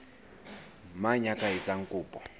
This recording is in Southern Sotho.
mang ya ka etsang kopo